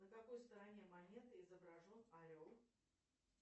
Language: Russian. на какой стороне монеты изображен орел